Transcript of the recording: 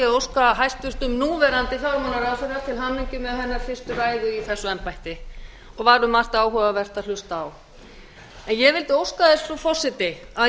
óska hæstvirtum núverandi fjármálaráðherra til hamingju með hennar fyrstu ræðu í þessu embætti og var um margt áhugavert að hlusta á ég vildi óska sess frú forseti að